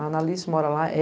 A Anna Alice mora lá.